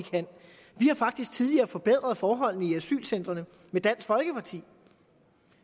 har faktisk tidligere forbedret forholdene i asylcentrene med dansk folkeparti